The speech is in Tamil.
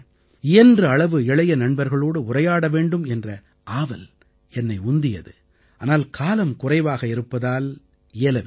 இயன்ற அளவு இளைய நண்பர்களோடு உரையாட வேண்டும் என்ற ஆவல் என்னை உந்தியது ஆனால் காலம் குறைவாக இருப்பதால் இயலவில்லை